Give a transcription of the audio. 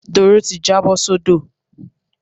Doro ti jábọ́ sódò.